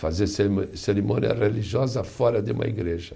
fazer cerimo, cerimônia religiosa fora de uma igreja.